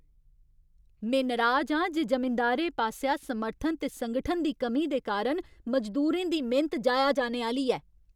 में नराज आं जे जमींदारें पासेआ समर्थन ते संगठन दी कमी दे कारण मजदूरें दी मेह्नत जाया जाने आह्‌ली ऐ।